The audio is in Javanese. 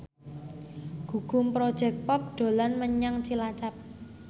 Gugum Project Pop dolan menyang Cilacap